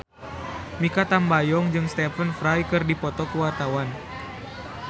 Mikha Tambayong jeung Stephen Fry keur dipoto ku wartawan